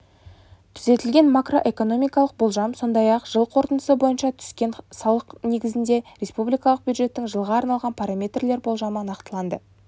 түзетілген макроэкономикалық болжам сондай-ақ жыл қорытындысы бойынша түскен салықтарнегізінде республикалық бюджеттің жылға арналған параметрлер болжамы нақтыланды